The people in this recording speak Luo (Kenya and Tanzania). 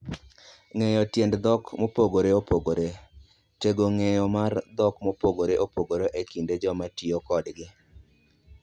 Ng'eyo Tiend Dhok Mopogore Opogore: Tego ng'eyo mar dhok mopogore opogore e kind joma tiyo kodgi.